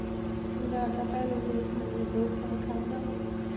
ਨਾ ਤਾਂ ਭੈਣੇ ਵੇਖ ਮੈਨੇ ਡੋਸਾ ਖਾਦਾ